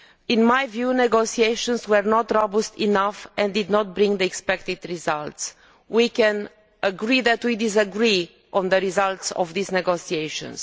In my view the negotiations were not robust enough and did not bring the expected results. We will have to agree to disagree on the results of these negotiations.